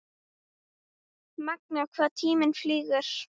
Magnað hvað tíminn flýgur?